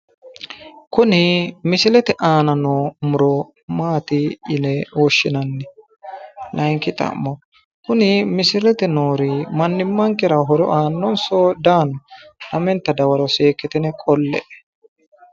Kuni misilete aana noo muro maati yine woshshinanni? Layinki xa'mo kuni misilete noori mannimmankera horo aanninso di aanno? Lamenta dawaro seekkitine qolle'e.